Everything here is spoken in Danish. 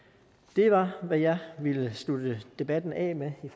det var hvad jeg ville slutte debatten af med i